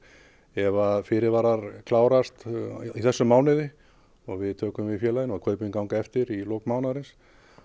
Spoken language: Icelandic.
ef fyrirvarar klárast í þessum mánuði og við tökum við félaginu og kaupin ganga eftir í lok mánaðarins